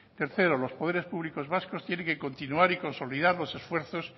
tercero los poderes públicos vascos tienen que continuar y consolidar los esfuerzos